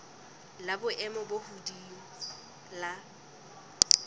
la boemo bo hodimo la